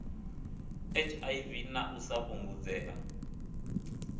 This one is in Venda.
hiv na u sa fhungudzea